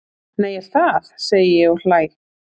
Nei, er það? segi ég og hlæ.